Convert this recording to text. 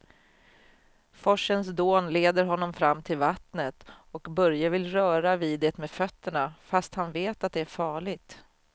Forsens dån leder honom fram till vattnet och Börje vill röra vid det med fötterna, fast han vet att det är farligt.